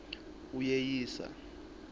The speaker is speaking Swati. uyeyisa